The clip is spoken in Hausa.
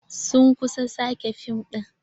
Sun kusa sake fim ɗin.